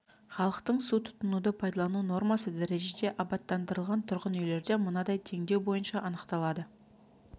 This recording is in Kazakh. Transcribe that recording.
халықтың су тұтынуды пайдалану нормасы дәрежеде абаттандырылған тұрғын үйлерде мынадай теңдеу бойынша анықталады